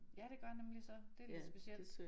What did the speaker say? Ja det gør nemlig så. Det lidt specielt